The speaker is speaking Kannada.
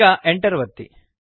ಈಗ Enter ಒತ್ತಿ